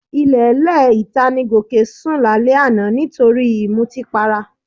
Ilẹ̀ẹ́lẹ̀ ìta ni Gòkè sún lálẹ́ àná nítorí ìmutípara